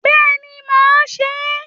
Béèni ma se é